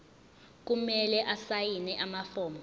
kumele asayine amafomu